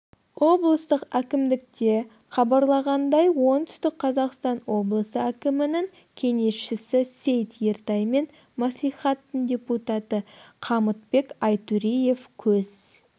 облыстық әкімдікте хабюарлағандай оңтүстік қазақстан облысы әкімінің кеңесшісі сейт ертай мен мәслихатының депутаты қамытбек айтореев көз